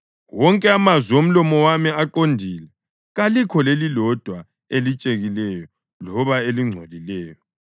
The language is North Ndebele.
Wonke amazwi omlomo wami aqondile; kalikho lelilodwa elitshekileyo loba elingcolileyo.